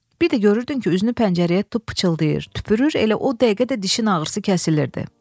Bir də görürdün ki, üzünü pəncərəyə tutub pıçıldayır, tüpürür, elə o dəqiqə də dişin ağrısı kəsilirdi.